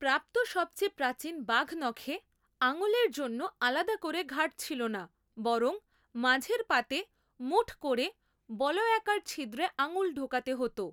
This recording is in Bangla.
প্রাপ্ত সবচেয়ে প্রাচীন বাঘনখে আঙুলের জন্য আলাদা করে ঘাট ছিলো না বরং মাঝের পাতে মুঠ করে বলয়াকার ছিদ্রে আঙুল ঢোকাতে হতো।